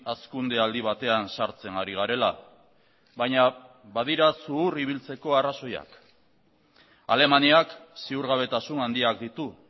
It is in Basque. hazkunde aldi batean sartzen ari garela baina badira zuhur ibiltzeko arrazoiak alemaniak ziurgabetasun handiak ditu